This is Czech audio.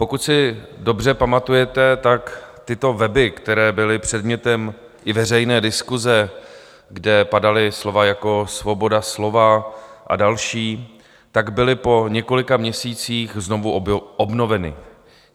Pokud si dobře pamatujete, tak tyto weby, které byly předmětem i veřejné diskuse, kde padala slova jako svoboda slova a další, tak byly po několika měsících znovu obnoveny.